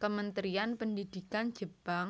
Kementerian Pendidikan Jepang